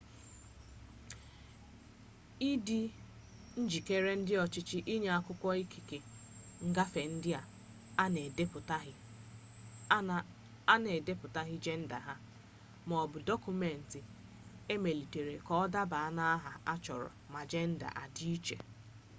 ịdị njikere ndị ọchịchị inye akwụkwọ ikike ngafe ndị a na-edepụtaghị jenda ha x maọbụ dọkụmentị emelitere ka ọ daba n’aha a chọrọ ma jenda adị iche